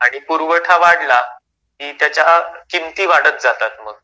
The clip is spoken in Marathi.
आणि पुरवठा वाढला, कि त्याच्या किमती वाढत जातात मग.